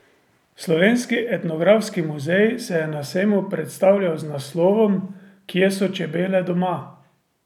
Slovenski etnografski muzej se je na sejmu predstavljal z naslovom Kje so čebele doma?